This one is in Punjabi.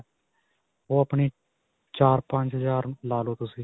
ਓਹ ਆਪਣੀ ਚਾਰ-ਪੰਚ ਹਜ਼ਾਰ ਲਾ ਲਵੋ ਤੁਸੀਂ.